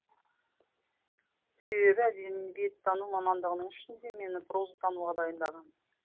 себебі әдебиеттану мамандығының ішінде мені прозатануға дайындаған